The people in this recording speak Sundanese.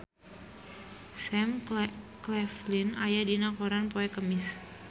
Sam Claflin aya dina koran poe Kemis